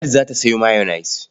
Ladi za ta sayo mayonnaise.